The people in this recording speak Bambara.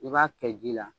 I b'a kɛ ji la